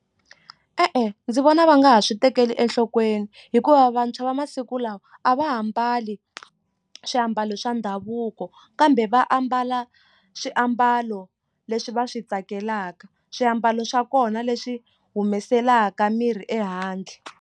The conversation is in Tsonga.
E-endzi vona va nga ha swi tekeli enhlokweni hikuva vantshwa va masiku lawa a va ha mbali swiambalo swa ndhavuko kambe va ambala swiambalo leswi va swi tsakelaka swiambalo swa kona leswi humeselaka mirhi ehandle.